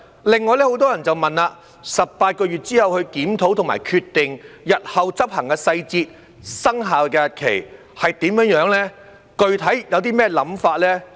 此外，很多人問到18個月後去檢討及決定，日後執行的細節、生效日期是怎樣、具體有何看法等。